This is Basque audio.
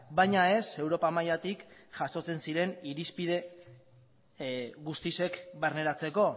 baina ez europa mailatik jasotzen ziren irizpide guztiek barneratzeko